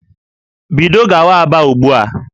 Bido gawa Aba ugbu a!